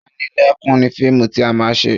Panilẹ́kún ni fíìmù tí a máa ṣe